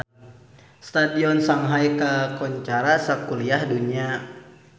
Stadion Shanghai kakoncara sakuliah dunya